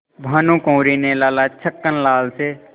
भानकुँवरि ने लाला छक्कन लाल से